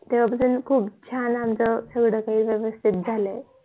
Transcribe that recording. तेव्हा पासून आमच खूप छान सगळं काही व्ययस्थित झाल आहे